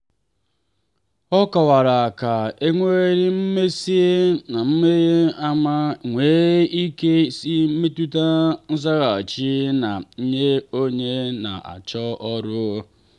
ọ kọwara ka enweghị mmasị n'amaghị ama nwere ike isi metụta nzaghachi ha nye onye na-achọ ọrụ.